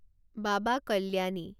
বাবা কল্যাণী